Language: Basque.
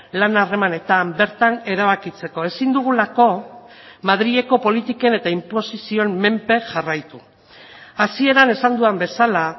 lan harremanetan bertan erabakitzeko ezin dugulako madrileko politiken eta inposizioen menpe jarraitu hasieran esan dudan bezala